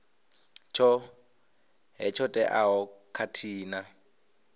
tshoṱhe tsho teaho khathihi na